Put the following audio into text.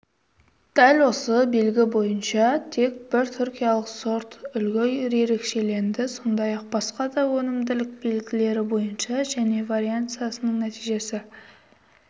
дәл осы белгі бойынша тек бір түркиялық сортүлгі ерекшеленді сондай-ақ басқа да өнімділік белгілері бойынша және вариансасының нәтижесі